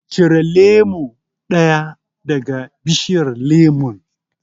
Cire lemo ɗaya daga bishiyar lemon.